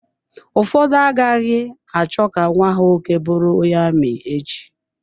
Ụfọdụ agaghị achọ ka nwa ha nwoke bụrụ onye ami echi.